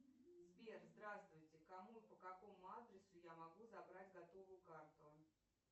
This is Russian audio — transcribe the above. сбер здравствуйте кому и по какому адресу я могу забрать готовую карту